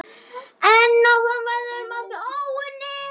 En áfram verður margt óunnið.